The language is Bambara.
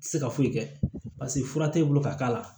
Tɛ se ka foyi kɛ paseke fura tɛ e bolo ka k'a la